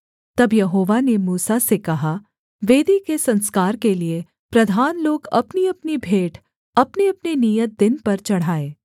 तब यहोवा ने मूसा से कहा वेदी के संस्कार के लिये प्रधान लोग अपनीअपनी भेंट अपनेअपने नियत दिन पर चढ़ाएँ